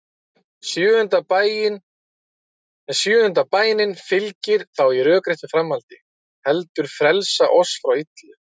Sjöunda bænin fylgir þá í rökréttu framhaldi: Heldur frelsa oss frá illu.